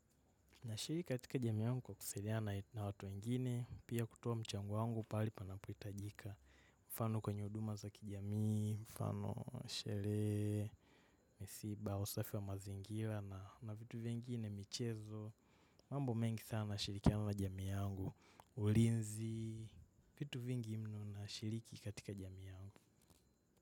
Nashiriki katika jamii yangu kwa kusaidiana na watu wengine, pia kutoa mchango wangu pale panapohitajika. Mfano kwenye huduma za kijamii, mfano sherehe, misiba, usafi wa mazingira na vitu vingine, michezo, mambo mengi sana nashirikiana na jamii yangu, ulinzi, vitu vingi mno nashiriki katika jami yangu.